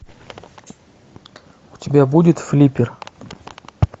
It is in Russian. у тебя будет флиппер